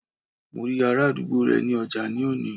Mo rí ará àdúgbò rẹ ní ọjà ní òní